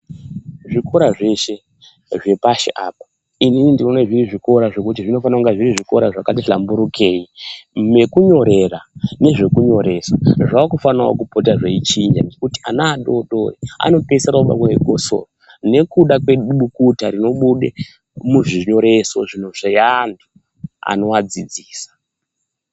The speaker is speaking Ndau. Zvikora zveshe zvepashi apa, inini ndinoone zviri zvikora zvakati hlamburukei. Mekunyorera nezvekunyoresa, zvakufanawo kupota zveichinja nekuti ana adori dori anopedzisira obatwa negosorwa nekuda kwebukuta rinobude muzvinyoreso zveantu anoadzidzisa.